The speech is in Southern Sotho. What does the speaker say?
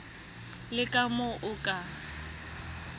le ka moo o ka